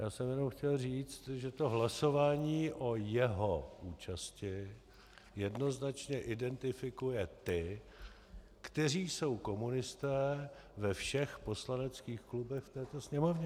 Já jsem jenom chtěl říct, že to hlasování o jeho účasti jednoznačně identifikuje ty, kteří jsou komunisté ve všech poslaneckých klubech v této sněmovně.